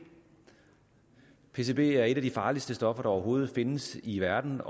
pcb er et af de farligste stoffer der overhovedet findes i verden